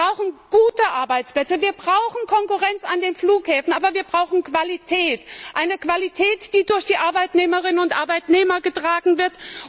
Wir brauchen gute Arbeitsplätze, wir brauchen Konkurrenz an den Flughäfen, aber wir brauchen Qualität, eine Qualität, die durch die Arbeitnehmerinnen und Arbeitnehmer getragen wird.